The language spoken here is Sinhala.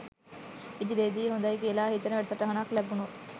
ඉදිරියේදී හොඳයි කියලා හිතෙන වැඩසටහනක් ලැබුණොත්